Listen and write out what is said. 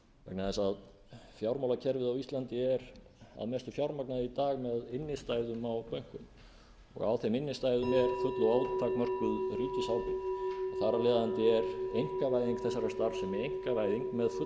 vegna þess að fjármálakerfið á íslandi er að mestu fjármagnað í dag með innstæðum á bönkunum á þeim innstæðum er full og ótakmörkuð ríkisábyrgð og þar af leiðandi er einkavæðing þessarar starfsemi einkavæðing með fullri